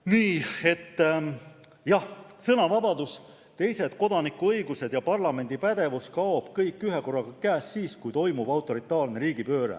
Nii et jah, sõnavabadus, teised kodanikuõigused ja parlamendi pädevus kaob kõik ühekorraga käest siis, kui toimub autoritaarne riigipööre.